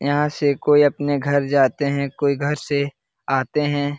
यहाँ से कोई अपने घर जाते हैं। कोई घर से आते हैं।